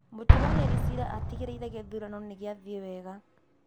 Mũtuanĩri cira atigĩrĩire gĩthurano nĩ gĩathiĩ wega